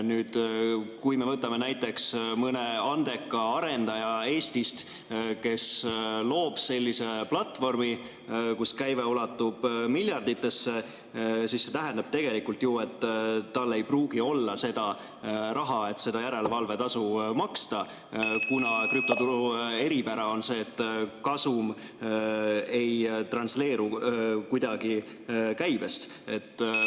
Kui me võtame näiteks mõne andeka arendaja Eestist, kes loob sellise platvormi, kus käive ulatub miljarditesse, siis see tähendab tegelikult ju, et tal ei pruugi olla seda raha, et järelevalvetasu maksta, kuna krüptoturu eripära on see, et kasum ei transleeru kuidagi käibest.